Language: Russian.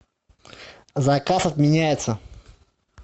заказ отменяется